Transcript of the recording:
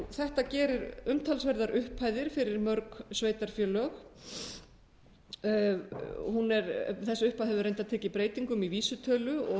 þetta gerir umtalsverðar upphæðir fyrir mörg sveitarfélög þessi upphæð hefur reyndar tekið breytingum í vísitölu